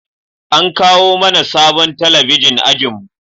An kawo mana sabon talabijin a ajinmu